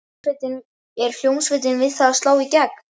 Er hljómsveitin við það að slá í gegn?